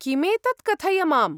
किमेतत् कथय माम्?